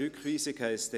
Rückweisung heisst